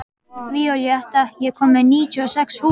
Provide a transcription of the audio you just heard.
Víóletta, ég kom með níutíu og sex húfur!